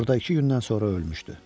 Orada iki gündən sonra ölmüşdü.